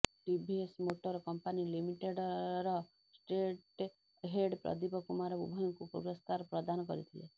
TVS motor company ଲିମିଟେଡର state head Pradeep Kumar ଉଭୟଙ୍କୁ ପୁରସ୍କାର ପ୍ରଦାନ କରିଥିଲେ